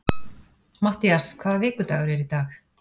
Mattías, hvaða vikudagur er í dag?